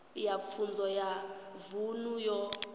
ya pfunzo ya vunḓu yo